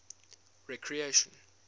recreation